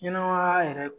Ɲɛnɛmaya yɛrɛ